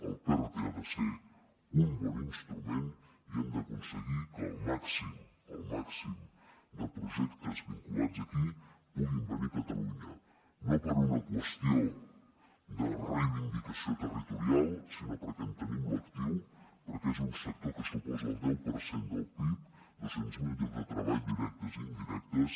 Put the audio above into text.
el perte ha de ser un bon instrument i hem d’aconseguir que el màxim el màxim de projectes vinculats aquí puguin venir a catalunya no per una qüestió de reivindicació territorial sinó perquè en tenim l’actiu perquè és un sector que suposa el deu per cent del pib dos cents miler llocs de treball directes i indirectes